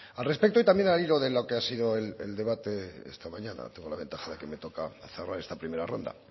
al respecto también al hilo de lo que ha sido el debate esta mañana tengo la ventaja de que me toca cerrar esta primera ronda